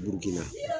Burukina